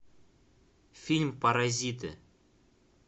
фильм паразиты